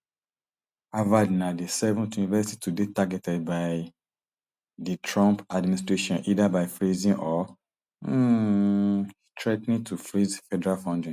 harvard na di seventh university to dey targeted by di trump administration either by freezing or um threa ten ing to freeze federal funding